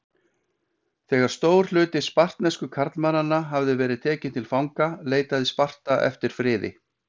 Þegar stór hluti spartnesku karlmannanna hafði verið tekinn til fanga leitaði Sparta eftir friði.